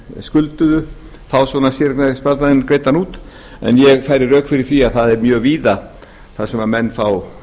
skulduðu fá séreignarsparnaðinn greiddan út en ég færi rök fyrir því að það er mjög víða sem menn fá